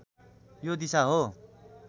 यो दिशा हो